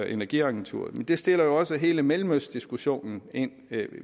energiagenturet det sætter jo også hele mellemøstdiskussionen